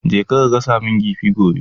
Je ka gasa kifin gobe!